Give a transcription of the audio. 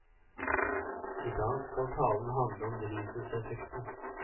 Idag skal talen handle om drivhuseffekten.